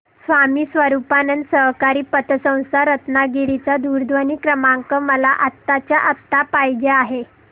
स्वामी स्वरूपानंद सहकारी पतसंस्था रत्नागिरी चा दूरध्वनी क्रमांक मला आत्ताच्या आता पाहिजे आहे